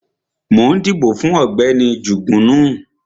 Mo ń dìbò fún Ọ̀gbẹ́ni Jugunu